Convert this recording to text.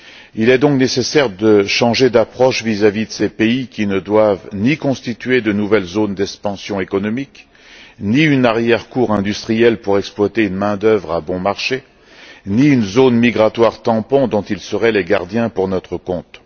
Il est donc nécessaire de changer d'approche vis à vis de ces pays, qui ne doivent ni constituer de nouvelles zones d'expansion économique, ni une arrière cour industrielle pour exploiter une main d'œuvre à bon marché, ni une zone migratoire tampon dont ils seraient les gardiens pour notre compte.